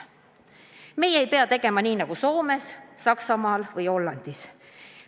Meie ei pea tegema nii nagu Soomes, Saksamaal või Hollandis.